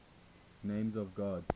names of god